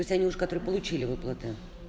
то есть они уже которые получили выплаты